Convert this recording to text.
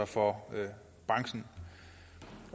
for det så